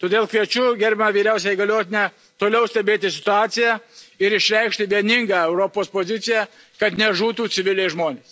Todėl kviečiu gerbiamą vyriausiąją įgaliotinę toliau stebėti situaciją ir išreikšti vieningą Europos poziciją, kad nežuvų civiliai žmonės.